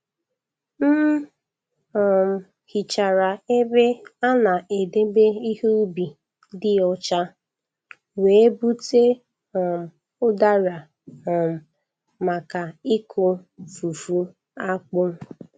M um hichara ebe a na-edebe ihe ubi dị ọcha, wee bute um ụdara um maka ịkụ fufu akpụ.